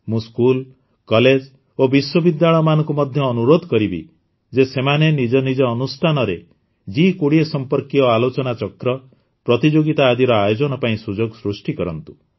ମୁଁ school college ଓ ବିଶ୍ୱବିଦ୍ୟାଳୟମାନଙ୍କୁ ମଧ୍ୟ ଅନୁରୋଧ କରିବି ଯେ ସେମାନେ ନିଜ ନିଜ ଅନୁଷ୍ଠାନରେ ଜି୨୦ ସମ୍ପର୍କୀୟ ଆଲୋଚନା ଚକ୍ର ପ୍ରତିଯୋଗିତା ଆଦିର ଆୟୋଜନ ପାଇଁ ସୁଯୋଗ ସୃଷ୍ଟି କରନ୍ତୁ